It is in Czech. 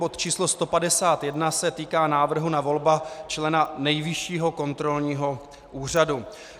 Bod číslo 151 se týká návrhu na volbu člena Nejvyššího kontrolního úřadu.